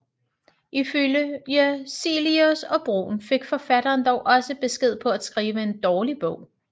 Ifølge Cillius og Bruun fik forfatteren dog også besked på at skrive en dårlig bog